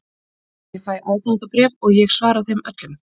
Ég fæ aðdáendabréf og ég svara þeim öllum.